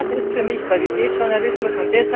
Das ist für mich Qualitätsjournalismus.